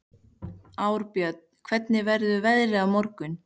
Arnbjörn, hvernig verður veðrið á morgun?